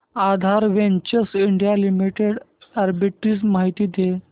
आधार ventures India limited arbitrage माहिती दे